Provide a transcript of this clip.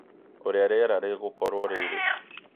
ũrĩa rĩera rĩgũkorũo rĩrĩ